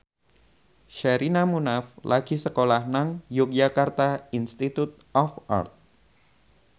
Sherina Munaf lagi sekolah nang Yogyakarta Institute of Art